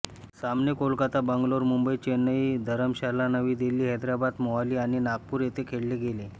सामने कोलकाता बंगलोर मुंबई चेन्नई धरमशाला नवी दिल्ली हैदराबाद मोहाली आणि नागपूर येथे खेळले गेले